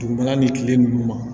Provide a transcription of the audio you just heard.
Dugumana ni kile nunnu ma